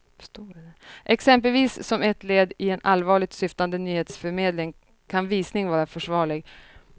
Exempelvis som ett led i en allvarligt syftande nyhetsförmedling kan visning vara försvarlig.